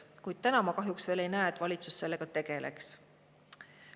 Kuid täna ma kahjuks ei näe, et valitsus sellega tegeleks.